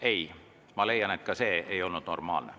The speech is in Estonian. Ei, ma leian, et ka see ei olnud normaalne.